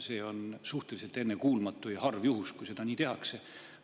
See on suhteliselt ennekuulmatu ja harv juhus, kui seda nii tehakse.